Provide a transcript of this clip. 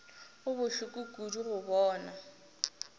go bohloko kudu go bona